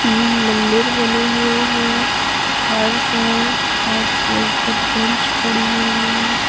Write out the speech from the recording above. तीन मंदिर बने हुए हैं फर्श है फर्श के ऊपर बेंच पड़ी हुई है।